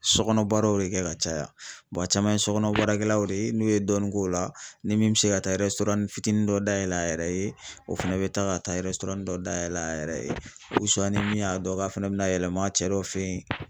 Sɔ kɔnɔbaraw de kɛ ka caya a caman ye sɔ kɔnɔ baarakɛlaw de ye, n'u ye dɔɔnin k'o la, ni min mi se ka taa fitini dɔ dayɛlɛ a yɛrɛ ye, o fɛnɛ be taa ka taa dɔ dayɛlɛ a yɛrɛ ye ni min y'a dɔn k'a fɛnɛ bɛna yɛlɛma a cɛ dɔ fɛ yen